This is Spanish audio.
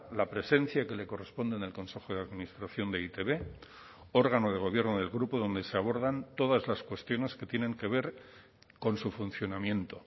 la presencia que le corresponde en el consejo de administración de e i te be órgano de gobierno del grupo donde se abordan todas las cuestiones que tienen que ver con su funcionamiento